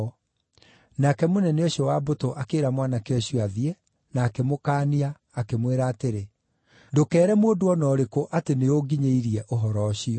Nake mũnene ũcio wa mbũtũ akĩĩra mwanake ũcio athiĩ, na akĩmũkaania, akĩmwĩra atĩrĩ, “Ndũkeere mũndũ o na ũrĩkũ atĩ nĩũnginyĩirie ũhoro ũcio.”